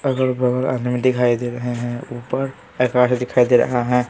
अगल बगल दिखाई दे रहे हैं ऊपर आकाश दिखाई दे रहा है।